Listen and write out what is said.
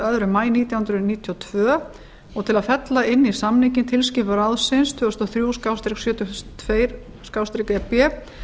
öðrum maí nítján hundruð níutíu og tvö og til að fella inn í samninginn tilskipun ráðsins tvö þúsund og þrjú sjötíu og tvö e b